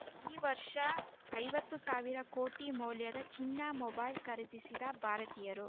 ಈ ವರ್ಷ ಐವತ್ತು ಸಾವಿರ ಕೋಟಿ ಮೌಲ್ಯದ ಚೀನಾ ಮೊಬೈಲ್‌ ಖರೀದಿಸಿದ ಭಾರತೀಯರು